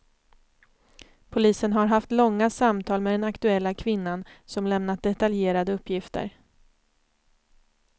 Polisen har haft långa samtal med den aktuella kvinnan, som lämnat detaljerade uppgifter.